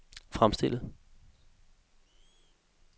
fremstillet